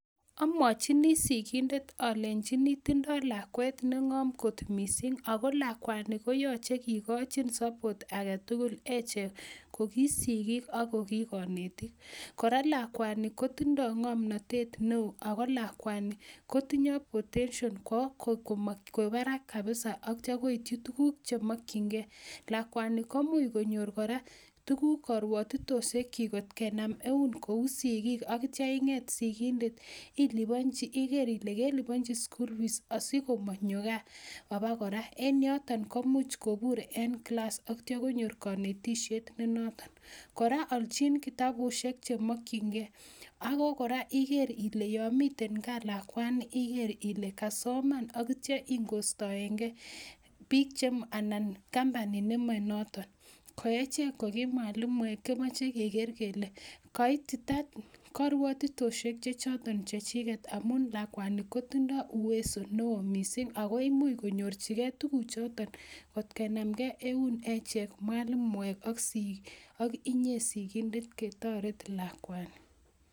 Amwochini sigindet alenyiini tindoo lakwet nengoom kot missing ako lakwani koyoche kikochin support agetugul nemokyingei ko ki sigiik ak ko ki koneetik. Kora lakwani kotindoi ngomnotet neo ako lakwanii, kotindo kamugeet kwon barak kabisa ak yeityo koityii tuguk chemokchingei. Lakwani komuch konyoor kora tuguuk, karwotitosiekchik angot kenaam eun ko ki sigiik, ak yeityoo ingeet sigindet i,iliponyii, igeer Ile kelipan rabinik chekimoche asikomonyoo gaa abakoraa. En yoton komuch kobuur en kilas ak yeityoo konyoor konetisiet nenotok. Koraa alchin Kitabusiek chemokyingei kora igeer Ile yon miten gaa lakwani igeer Ile kasoman ak koistoengee bike anan kampunit Nemo notoon. Echek akechek kokimwalimuek kemoche kegeer kele kaitita karwatitosiek chechoton chechiget amun lakwani kotindoo uwezo missing ako imuch konyorchigei tuguuchoton lot kenam Ngee eun echek mwalimuek ak inyee sigindet ketoret lakwanii